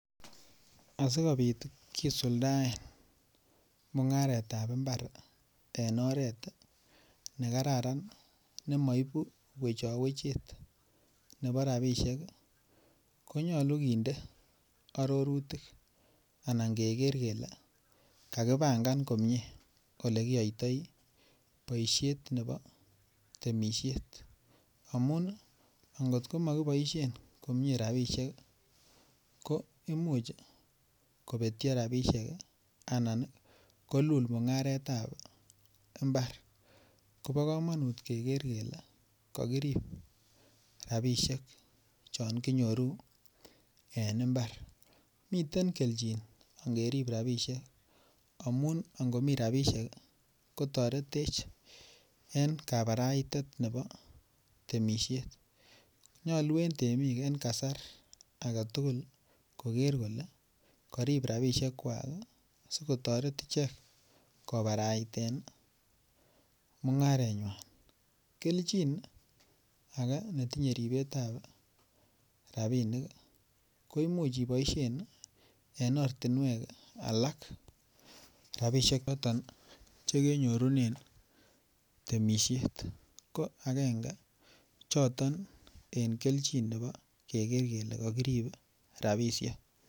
Asikobit kisuldaen mungaret ab mbar en oret ne kararan ne moibu wechowechet nebo rabisiek ko nyolu kinde arorutik anan keger kele kakipangan komie Ole kiyoitoi boisiet nebo temisiet amun angot ko Ma kiboisien komie rabisiek ko Imuch kobetyo rabisiek anan kolul mungaret ab mbar kobo kamanut keger kele kakirib rabisiek chon kinyoru en mbar miten angerib rabisiek amun angomi rabisiek kotoretech en kabaraitet nebo temisiet nyolu en temik en kasar age tugul koger kole karib rabisiekwak asi kotoret ichek kobaraiten mungarenywa keljin age ne tinye ribetab rabinik ko Imuch iboisien en ortinwek alak rabisiek choton Che kenyorunen temisiet ko agenge choton en kelchin nebo keger kele kakirib rabisiek